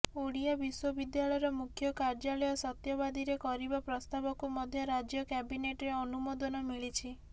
ଓଡ଼ିଆ ବିଶ୍ୱବିଦ୍ୟାଳୟର ମୁଖ୍ୟ କାର୍ଯ୍ୟାଳୟ ସତ୍ୟବାଦୀରେ କରିବା ପ୍ରସ୍ତାବକୁ ମଧ୍ୟ ରାଜ୍ୟ କ୍ୟାବିନେଟ୍ର ଅନୁମୋଦନ ମିଳିଛି